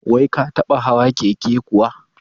Wai ka taɓa hawa keke kuwa?